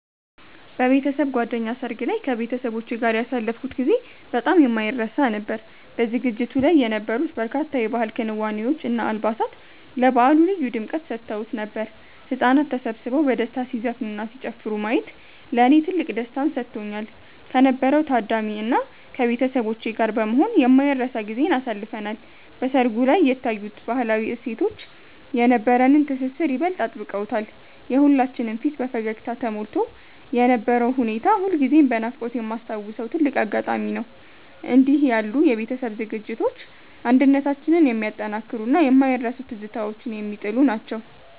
በቤተሰብ ጓደኛ ሰርግ ላይ ከቤተሰቦቼ ጋር ያሳለፍኩት ጊዜ በጣም የማይረሳ ነበር። በዝግጅቱ ላይ የነበሩት በርካታ የባህል ክዋኔዎች እና አልባሳት ለበዓሉ ልዩ ድምቀት ሰጥተውት ነበር። ህጻናት ተሰብስበው በደስታ ሲዘፍኑና ሲጨፍሩ ማየት ለኔ ትልቅ ደስታን ሰጥቶኛል። ከነበረው ታዳሚ እና ከቤተሰቦቼ ጋር በመሆን የማይረሳ ጊዜን አሳልፈናል። በሰርጉ ላይ የታዩት ባህላዊ እሴቶች የነበረንን ትስስር ይበልጥ አጥብቀውታል። የሁላችንም ፊት በፈገግታ ተሞልቶ የነበረው ሁኔታ ሁልጊዜም በናፍቆት የማስታውሰው ትልቅ አጋጣሚ ነው። እንዲህ ያሉ የቤተሰብ ዝግጅቶች አንድነታችንን የሚያጠናክሩና የማይረሱ ትዝታዎችን የሚጥሉ ናቸው።